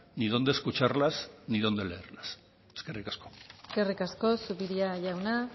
ni donde escucharlas ni donde leerlas eskerrik asko eskerrik asko zupiria jauna